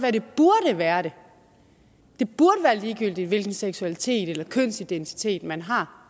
være at det burde være ligegyldigt hvilken seksualitet eller kønsidentitet man har